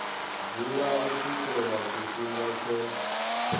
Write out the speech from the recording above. dzula u swikela tshifhinga tsho